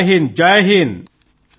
C cadets అందరూ జైహింద్ sir